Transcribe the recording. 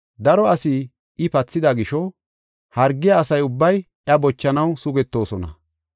Daro asaa I pathida gisho, hargiya asa ubbay iya bochanaw sugetoosona.